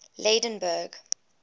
lydenburg